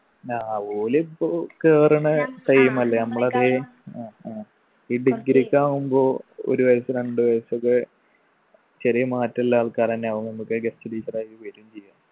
ആ ഓലിപ്പോ കേറണേ time അല്ലെ അമ്മളെതെ അഹ് അഹ് ഈ ഈ degree ഒക്കെ ആവുമ്പൊ ഒരു വയസ്സ് രണ്ടു വയസൊക്കെ ചെറിയ മാറ്റുള്ള ആൾക്കാരെന്നെ ആവും നമ്മക്ക് guest teacher ആയിട്ട് വരും ചെയ്യ